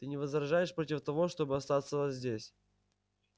ты не возражаешь против того чтобы оставаться здесь